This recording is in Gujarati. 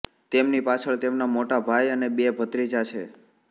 તેમની પાછળ તેમના મોટા ભાઈ અને બે ભત્રીજા છે